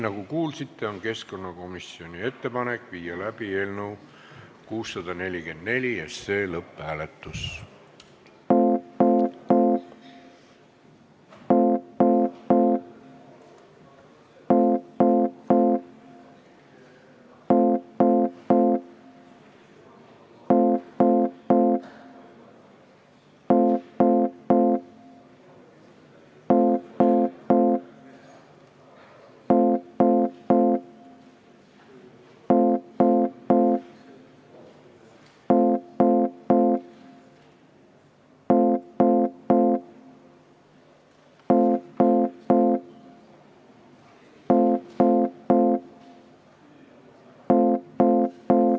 Nagu kuulsite, on keskkonnakomisjoni ettepanek viia läbi eelnõu 644 lõpphääletus.